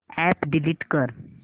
app delete कर